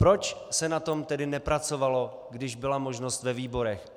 Proč se na tom tedy nepracovalo, když byla možnost ve výborech?